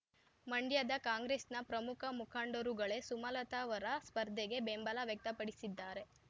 ಮಂಡ್ಯದ ಕಾಂಗ್ರೆಸ್‌ನ ಪ್ರಮುಖ ಮುಖಂಡರುಗಳೇ ಸುಮಲತಾರವರ ಸ್ಪರ್ಧೆಗೆ ಬೆಂಬಲ ವ್ಯಕ್ತಪಡಿಸಿದ್ದಾರೆ